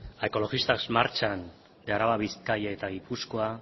a ekologistak martxan de araba bizkaia eta gipuzkoa